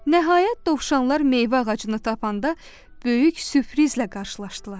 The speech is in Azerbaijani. Nəhayət, dovşanlar meyvə ağacını tapanda böyük süprizlə qarşılaşdılar.